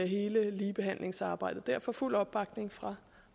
hele ligebehandlingsarbejdet derfor fuld opbakning fra